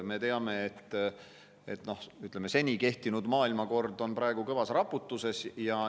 Me teame, et seni kehtinud maailmakord on kõvas raputuses.